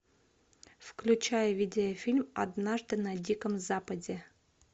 включай видеофильм однажды на диком западе